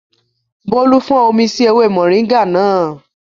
Bólú fọ́n omi sí ewé mọ̀ríńgà náà